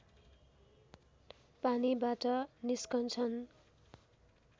पानीबाट निस्कन्छन्